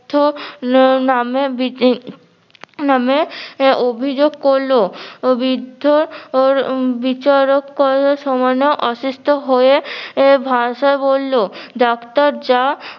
বৃদ্ধর নামে নামে অভিযোগ করলো বৃদ্ধ ওর বিচারক করার সময় অসুস্থ হয়ে ভাষা বললো ডাক্তার যা